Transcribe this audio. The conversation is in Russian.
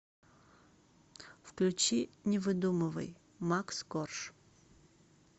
включи не выдумывай макс корж